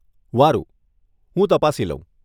વારુ, હું તપાસી લઉં.